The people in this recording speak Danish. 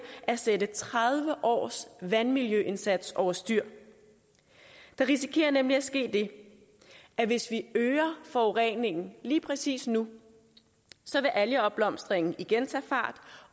at sætte tredive års vandmiljøindsats over styr der risikerer nemlig at ske det at hvis vi øger forureningen lige præcis nu vil algeopblomstringen igen tage fart